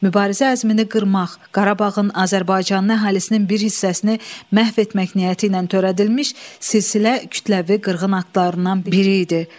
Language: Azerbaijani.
Mübarizə əzmini qırmaq, Qarabağın Azərbaycan əhalisinin bir hissəsini məhv etmək niyyəti ilə törədilmiş silsilə kütləvi qırğın aktlarından biri idi.